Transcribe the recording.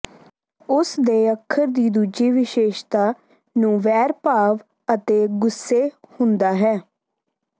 ਉਸ ਦੇ ਅੱਖਰ ਦੀ ਦੂਜੀ ਵਿਸ਼ੇਸ਼ਤਾ ਨੂੰ ਵੈਰ ਭਾਵ ਅਤੇ ਗੁੱਸੇ ਹੁੰਦਾ ਹੈ